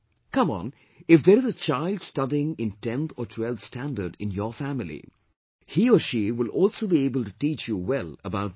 Come on, if there is a child studying in 10th or 12th standard in your family, he or she will also be able to teach you well about this